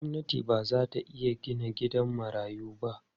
Gwamnati ba za ta iya gina gidan marayu ba.